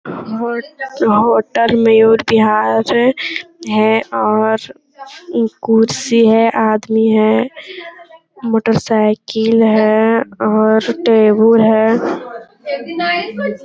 होट होटल मयूर बिहार है और कुर्सी है आदमी है मोटर साइकिल है और टेबुल है।